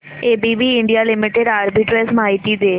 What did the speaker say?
ABB India limited arbitrage माहिती दे